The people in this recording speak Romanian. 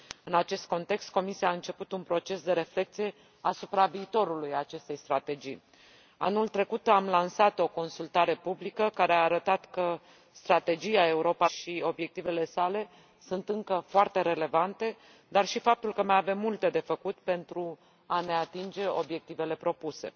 În acest context, Comisia a început un proces de reflecție asupra viitorului acestei strategii. Anul trecut am lansat o consultare publică care a arătat că Strategia Europa 2020 și obiectivele sale sunt încă foarte relevante, dar și faptul că mai avem multe de făcut pentru a ne atinge obiectivele propuse.